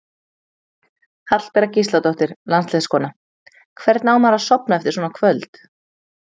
Hallbera Gísladóttir landsliðskona: Hvernig á maður að sofna eftir svona kvöld?